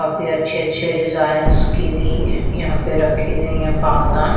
काफी अच्छे अच्छे रिजाइन्स की भी यहाँ पे रखी गई हैं पावदान।